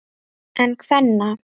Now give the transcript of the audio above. En kvenna?